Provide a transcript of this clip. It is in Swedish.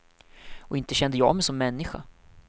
Och inte kände jag mig som människa.